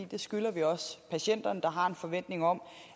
det skylder vi også patienterne der har en forventning om